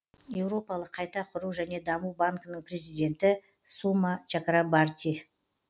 еуропалық қайта құру және даму банкінің президенті сума чакрабарти